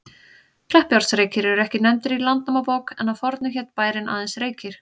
Kleppjárnsreykir eru ekki nefndir í Landnámabók, en að fornu hét bærinn aðeins Reykir.